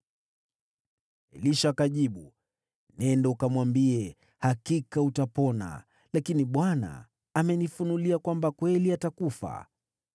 Elisha akajibu, “Nenda ukamwambie, ‘Hakika utapona’; lakini Bwana amenifunulia kwamba kweli atakufa.”